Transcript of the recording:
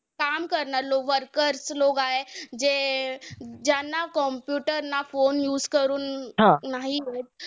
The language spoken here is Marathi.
काम करणार लोक workers लोक आहे. जे ज्यांना computer ना phone use करून नाही होत.